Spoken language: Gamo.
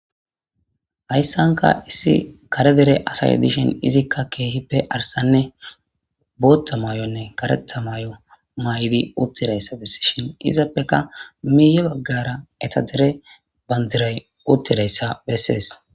hayssanka issi kare dere asay dishin izikka keehippe arsanne bootta may7onne karetha may7o may7idi uttidayssa besishin izappeka miiye baggara eta dere bandiray uttidayssa bessees